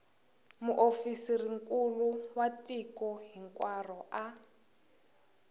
muofisirinkulu wa tiko hinkwaro a